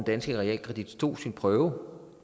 danske realkredit stod sin prøve